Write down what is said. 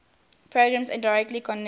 programs indirectly connected